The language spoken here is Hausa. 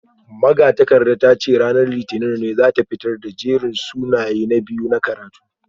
Magatakardar ta ce ranar litinin ne za a fitar da jerin sunayen na biyu na karatu